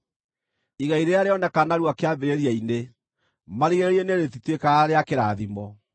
Igai rĩrĩa rĩoneka narua kĩambĩrĩria-inĩ, marigĩrĩrio-inĩ rĩtituĩkaga rĩa kĩrathimo.